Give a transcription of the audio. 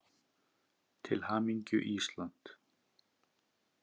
Til hamingju Ísland.